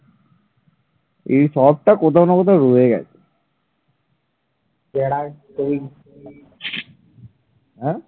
হ্যাঁ